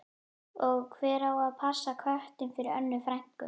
Og hver á að passa köttinn fyrir Önnu frænku?